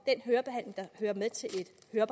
jeg